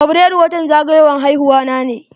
Fabrairu watan zagayowan haihuwa na ne.